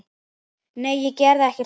Nei, ég geri ekki slíkt.